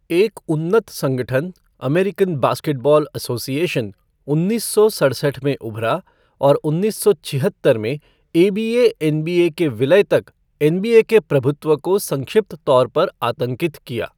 एक उन्नत संगठन, अमेरिकन बास्केटबॉल एसोसिएशन, उन्नीस सौ सड़सठ में उभरा और उन्नीस सौ छहत्तर में एबीए एनबीए के विलय तक एनबीए के प्रभुत्व को संक्षिप्त तौर पर आतंकित किया।